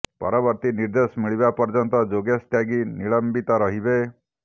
ପରବର୍ତ୍ତୀ ନିର୍ଦେଶ ମିଳିବା ପର୍ଯ୍ୟନ୍ତ ଯୋଗେଶ ତ୍ୟାଗି ନିଲମ୍ବିତ ରହିବେ